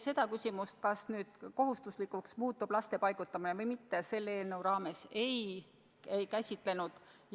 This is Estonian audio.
Seda küsimust, kas see muutub kohustuslikuks või mitte, me selle eelnõu raames ei käsitlenud.